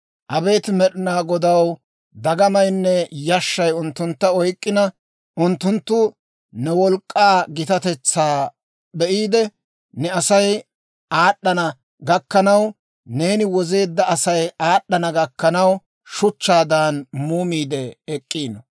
Abeet Med'inaa Godaw dagamaynne yashshay unttuntta oyk'k'ina, Unttunttu ne wolk'k'aa gitatetsaa be'iide, ne Asay aad'd'ana gakkanaw, neeni wozeedda Asay aad'd'ana gakkanaw, shuchchaadan muumiide ek'k'ino.